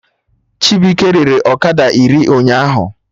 Chibuike rere ọkada iri ụnyaahụ